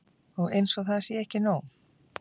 Og eins og það sé ekki nóg.